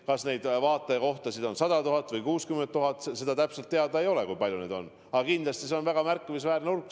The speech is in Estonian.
Kas neid vaatajakohtasid on 100 000 või 60 000, täpselt teada ei ole, aga kindlasti neid on väga märkimisväärne hulk.